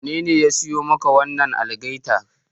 Wanene ya siyo maka wannan algaitar?